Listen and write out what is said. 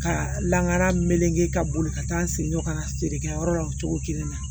Ka lakana meleke ka boli ka taa n senjɔ ka feerekɛ yɔrɔ la o cogo kelen na